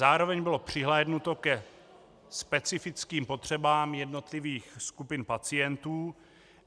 Zároveň bylo přihlédnuto ke specifickým potřebám jednotlivých skupin pacientů,